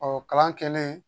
Ɔ kalan kɛlen